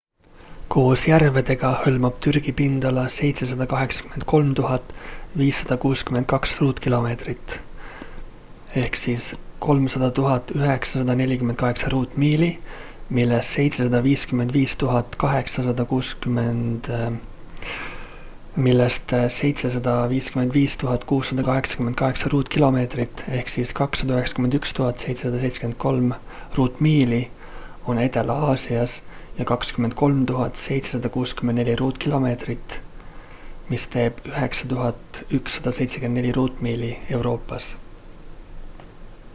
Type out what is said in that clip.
koos järvedega hõlmab türgi pindala 783 562 ruutkilomeetrit 300 948 ruutmiili millest 755 688 ruutkilomeetrit 291 773 ruutmiili on edela-aasias ja 23 764 ruutkilomeetrit 9 174 ruutmiili euroopas